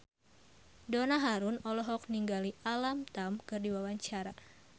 Donna Harun olohok ningali Alam Tam keur diwawancara